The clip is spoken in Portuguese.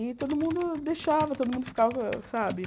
E todo mundo deixava, todo mundo ficava, sabe?